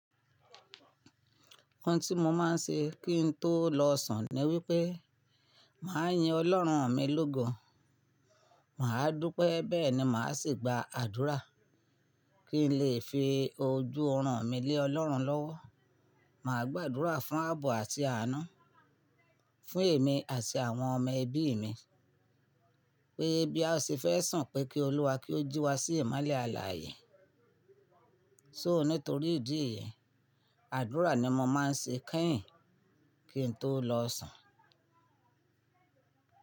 Ohun tí mo máa ń ṣe kí n tó lọ sùn ni wípé màá yin Ọlọ́run mi lógo, màá dúpẹ́ bẹ́ẹ̀ ni màá sì gba àdúrà kí n lè fi ojú ọrùn mi lé Ọlọ́run lọ́wọ́. Màá gbàdúrà fún àbọ̀ àti ànu, fún èmi àti àwọn ọmọ ẹbí mi pé bí a ṣe fẹ́ sùn pé kí Olúwa kí ó jí wa sí ìmálé alààyè. So nítorí ìdí èyí àdúrà ni mo máa ń ṣe kẹ́yìn kí n tó lọ sùn.